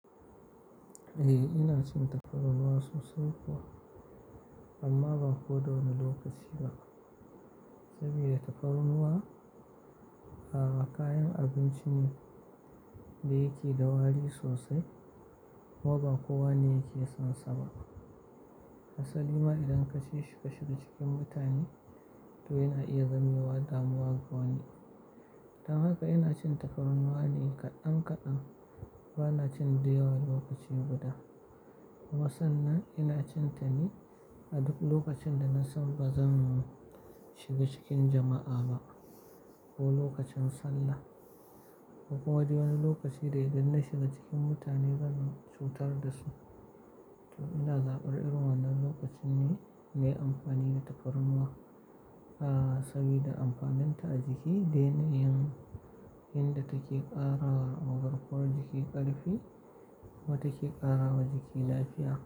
Eh, ina cin takarar ruwa sosai kuwa, amma ban ko wani lokaci ba. Saboda tafarnuwar ruwa, a'a kayan abinci ne da yake da wari sosai. Kuma ba kowa ne yake son saba. Asali ma idan ka ce ka shiga cikin mutane domin a iya gamewa damuwa ga wani. Dan haka ina cin tafarnuwa ne kadan kadan, bana cin da yawan lokaci guda. Kuma san nan ina cin ta ne a duk lokacin da na san ba zan shiga cikin jama'a ba ko lokacin sallah. Ko kuma wani lokaci da idan na shiga cikin mutane zan cutar da su. To ina zaɓar irin wannan lokacin ne mai amfani da takarar ruwa, a'a saboda amfanin ta a jiki dai na yin inda take ƙarawa ogon kwar jiki ƙarfi kuma take ƙarawa jiki lafiya.